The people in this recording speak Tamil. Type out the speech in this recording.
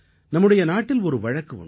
நம்முடைய நாட்டில் ஒரு வழக்கு உண்டு